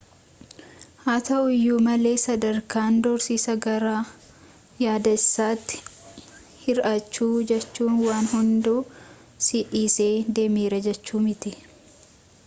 haa ta'uuyyu malee sadarkaan doorsisa gara yaadessatti hir'aachu jechuun waan hundu si dhisee deemera jechuu miti